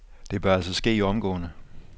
Det bør altså ske omgående.